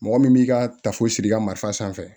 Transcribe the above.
Mɔgɔ min b'i ka tafo siri i ka marifa sanfɛ